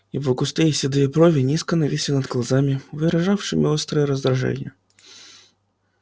его густые седые брови низко нависли над глазами выражавшими острое раздражение